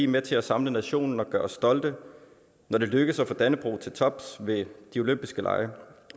med til at samle nationen og gøre os stolte når det lykkes at få dannebrog til tops ved de olympiske lege